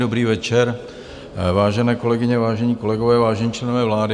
Dobrý večer, vážené kolegyně, vážení kolegové, vážení členové vlády.